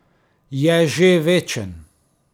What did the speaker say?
Je že večen.